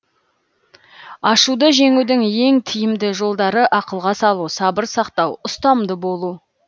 ашуды жеңудің ең тиімді жолдары ақылға салу сабыр сақтау ұстамды болу